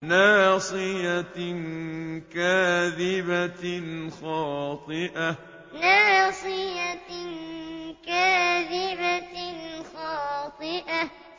نَاصِيَةٍ كَاذِبَةٍ خَاطِئَةٍ نَاصِيَةٍ كَاذِبَةٍ خَاطِئَةٍ